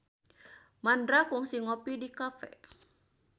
Mandra kungsi ngopi di cafe